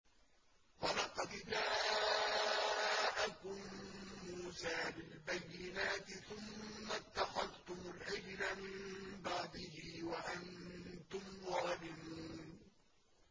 ۞ وَلَقَدْ جَاءَكُم مُّوسَىٰ بِالْبَيِّنَاتِ ثُمَّ اتَّخَذْتُمُ الْعِجْلَ مِن بَعْدِهِ وَأَنتُمْ ظَالِمُونَ